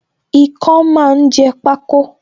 Ikán máa ń jẹ pako